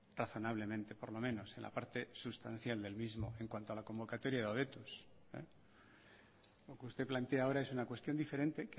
razonablemente por lo menos en la parte sustancial del mismo en cuanto a la convocatoria de hobetuz lo que usted plantea ahora es una cuestión diferente